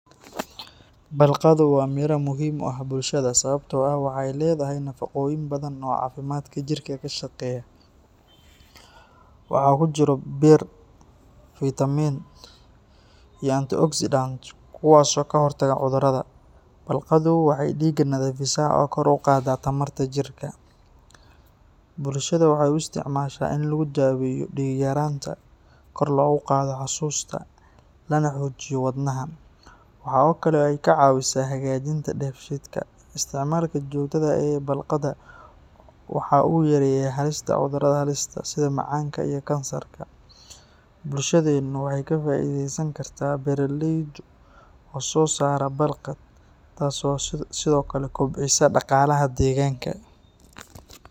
Balqaddu waa miro muhiim u ah bulshada sababtoo ah waxay leedahay nafaqooyin badan oo caafimaadka jidhka ka shaqeeya. Waxaa ku jira bir, fiitamiin , iyo [antioxidants kuwaas oo ka hortaga cudurrada. Balqaddu waxay dhiigga nadiifisaa oo kor u qaadaa tamarta jidhka. Bulshada waxay u isticmaashaa in lagu daaweeyo dhiig-yaraanta, kor loogu qaado xasuusta, lana xoojiyo wadnaha. Waxaa kale oo ay ka caawisaa hagaajinta dheefshiidka. Isticmaalka joogtada ah ee balqadda waxa uu yareeyaa halista cudurrada halista ah sida macaanka iyo kansarka. Bulshadeennu waxay ka faa’iidaysan kartaa beeraleyda oo soo saara balqad, taas oo sidoo kale kobcisa dhaqaalaha deegaanka